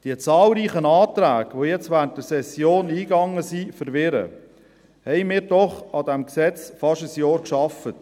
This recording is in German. Die zahlreichen Anträge, die jetzt während der Session eingegangen sind, verwirren, haben wir doch fast ein Jahr an diesem Gesetz gearbeitet.